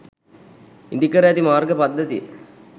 ඉදිකර ඇති මාර්ග පද්ධතිය